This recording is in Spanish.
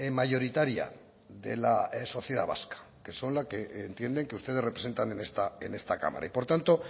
mayoritaria de la sociedad vasca que son la que entienden que ustedes representan en esta cámara y por tanto